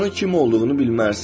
İnsanın kim olduğunu bilmərsən.